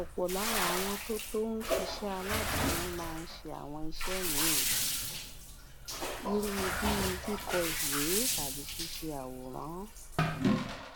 òpò lára àwọn tó tó ń ṣiṣé aládàáni máa ń ṣe àwọn iṣé míì irú bíi kíkọ ìwé tàbí ṣíṣe àwòrán